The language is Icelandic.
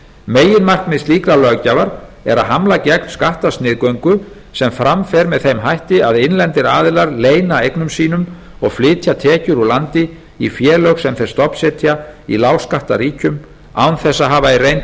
meginmarkmið slíkrar löggjafar er að hamla gegn skattasniðgöngu sem fram fer með þeim hætti að innlendir aðilar leyna eignum sínum og flytja tekjur úr landi í félög sem þeir stofnsetja í lágskattaríkjum án þess að hafa í reynd